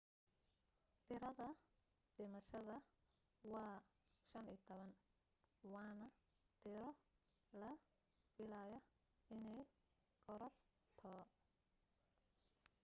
tirada dhimashada waa 15 waan tiro la filayo inee korarto